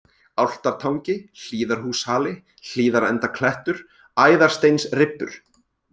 Álftartangi, Hlíðarhúshali, Hlíðarendaklettur, Æðarsteinsribbur